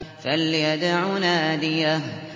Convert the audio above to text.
فَلْيَدْعُ نَادِيَهُ